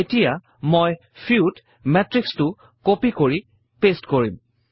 এতিয়া মই FEW ত মেত্ৰিক্সটো কপি আৰু পেইষ্ট কৰিম